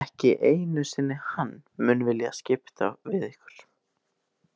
Ekki einu sinni hann mun vilja skipta við ykkur.